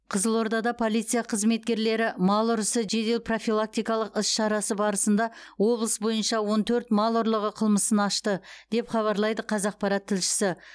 қызылордада полиция қызметкерлері мал ұрысы жедел профилактикалық іс шарасы барысында облыс бойынша он төрт мал ұрлығы қылмысын ашты деп хабарлайды қазақпарат тілшісі